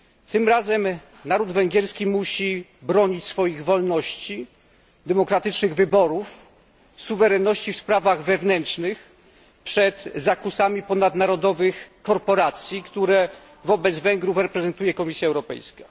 Tym razem naród węgierski musi bronić swoich wolności, demokratycznych wyborów, suwerenności w sprawach wewnętrznych przed zakusami ponadnarodowych korporacji, które wobec Węgrów reprezentuje Komisja Europejska.